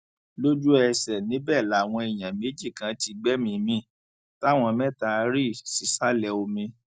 lójúẹsẹ níbẹ làwọn èèyàn méjì kan ti gbẹmíín mi táwọn mẹta rí sísàlẹ omi